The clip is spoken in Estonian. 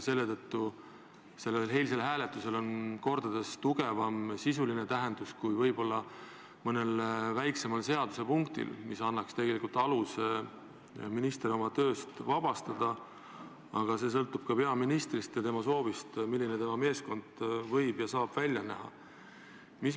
Selle tõttu oli sellel eilsel hääletusel mitu korda tugevam sisuline tähendus kui võib-olla mõnel väiksemal seadusepunktil, mis annaks tegelikult aluse minister töölt vabastada, aga see sõltub ka peaministrist ja tema soovist, milline tema meeskond võib ja saab välja näha.